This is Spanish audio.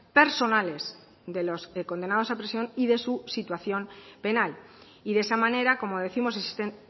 personales de los condenados a prisión y de su situación penal y de esa manera como décimos existen